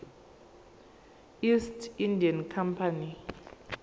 east india company